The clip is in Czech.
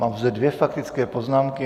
Mám zde dvě faktické poznámky.